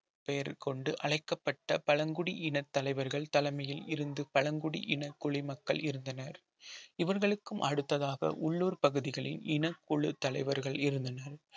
பெயர் கொண்டு அழைக்கப்பட்ட பழங்குடியின தலைவர்கள் தலைமையில் இருந்து பழங்குடி இன குடிமக்கள் இருந்தனர் இவர்களுக்கும் அடுத்ததாக உள்ளூர் பகுதிகளில் இன குழு தலைவர்கள் இருந்தனர்